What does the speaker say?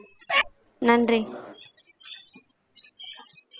நன்றி